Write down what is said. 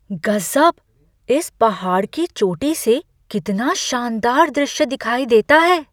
गज़ब! इस पहाड़ की चोटी से कितना शानदार दृश्य दिखाई देता है!